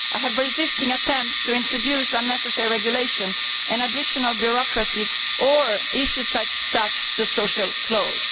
I have resisted attempts to introduce unnecessary regulation and additional bureaucracy or issues such as the social clause.